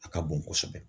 A ka bon kosɛbɛ